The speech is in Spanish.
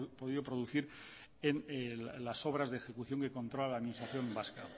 podido producir en las obras de ejecución que controla la administración vasca